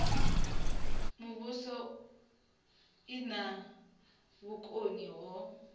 muvhuso i na vhukoni ho